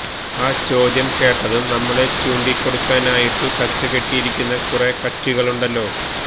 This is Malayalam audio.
ആ ചോദ്യം കേട്ടതും നമ്മളെ ചൂണ്ടിക്കൊടുക്കാനായിട്ടു കച്ചകെട്ടിയിരിക്കുന്ന കുറെ കക്ഷികളുണ്ടല്ലോ